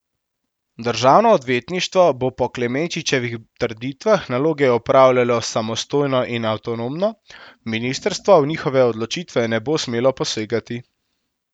Državno odvetništvo bo po Klemenčičevih trditvah naloge opravljalo samostojno in avtonomno, ministrstvo v njihove odločitve ne bo smelo posegati.